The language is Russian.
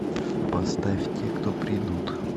поставь те кто придут